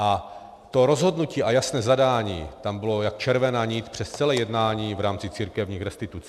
A to rozhodnutí a jasné zadání tam bylo jako červená nit přes celé jednání v rámci církevních restitucí.